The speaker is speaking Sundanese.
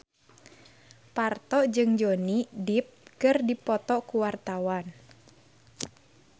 Parto jeung Johnny Depp keur dipoto ku wartawan